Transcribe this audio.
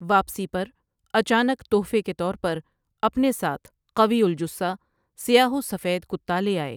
واپسی پر اچانک تحفے کے طور پر اپنے ساتھ قوی الجثہ سیاہ وسفید کتا لے آئے۔